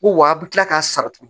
Ko wa a bɛ tila k'a sara tugun